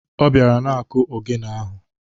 Ọ bịara na-akụ ogene ahụ.